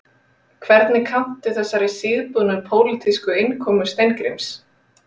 Hvernig kanntu þessari síðbúnu pólitísku innkomu Steingríms?